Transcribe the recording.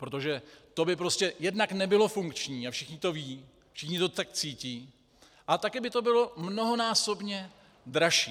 Protože to by prostě jednak nebylo funkční, a všichni to vědí, všichni to tak cítí, a také by to bylo mnohonásobně dražší.